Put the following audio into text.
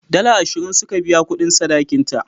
Dala ashirin suka biya kudin sadakin ta.